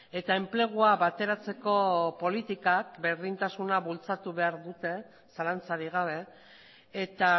eta enplegua bateratzeko politikak berdintasuna bultzatu behar dute zalantzarik gabe eta